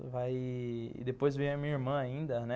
Vai... E depois vem a minha irmã ainda, né?